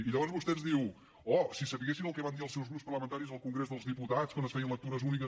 i llavors vostè ens diu oh si sabessin el que van dir els seus grups parlamentaris al congrés dels diputats quan es feien lectures úniques